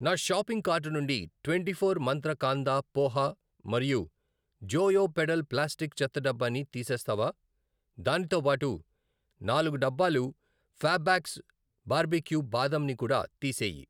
నా shopping cart నుండి twenty four Mantra kanda poha మరియు జోయో పెడల్ ప్లాస్టిక్ చెత్తడబ్బా ని తీసేస్తావా? దానితోబాటు నాలుగు డబ్బాలు ఫ్యాబ్బాక్స్ బార్బేక్యూ బాదం ని కూడా తీసేయి.